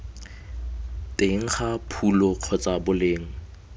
teng ga phulo kgotsa boleng